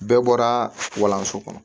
Bɛɛ bɔra walanso kɔnɔ